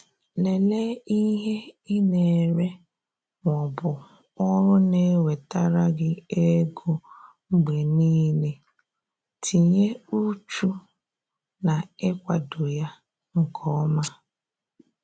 Lelee ihe ị na-ere ma ọ bụ ọrụ na-ewetara gi ego mgbe niile, tinye uchu na-ikwado ya nke ọma